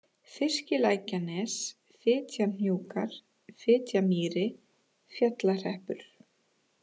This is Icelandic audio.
Fiskilækjanes, Fitjahnjúkar, Fitjamýri, Fjallahreppur